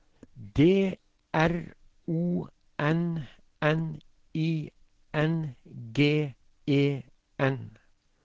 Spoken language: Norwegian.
D R O N N I N G E N